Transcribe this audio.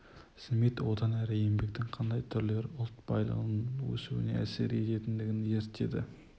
смит одан әрі еңбектің қандай түрлері ұлт байлығының өсуіне әсер ететіндігін зерттеді